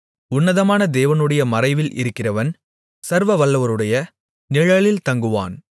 உன்னதமான தேவனுடைய மறைவில் இருக்கிறவன் சர்வவல்லவருடைய நிழலில் தங்குவான்